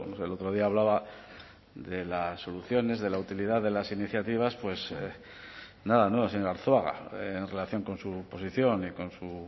el otro día hablaba de las soluciones de la utilidad de las iniciativas pues nada nuevo señor arzuaga en relación con su posición y con su